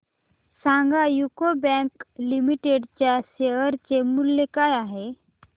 सांगा UCO bank limited च्या share चे मूल्य काय आहे